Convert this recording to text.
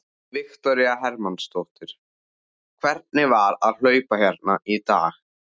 Viktoría Hermannsdóttir: Hvernig var að hlaupa hérna í dag?